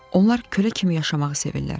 Onlar külə kimi yaşamağı sevirlər.